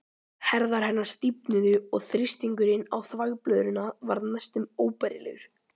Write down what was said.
Herðar hennar stífnuðu og þrýstingurinn á þvagblöðruna varð næstum óbærilegur.